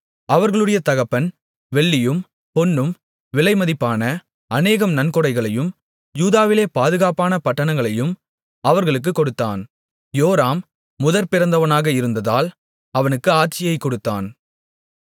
அவர்களுடைய தகப்பன் வெள்ளியும் பொன்னும் விலைமதிப்பான அநேகம் நன்கொடைகளையும் யூதாவிலே பாதுகாப்பான பட்டணங்களையும் அவர்களுக்குக் கொடுத்தான் யோராம் முதற்பிறந்தவனாக இருந்ததால் அவனுக்கு ஆட்சியைக் கொடுத்தான்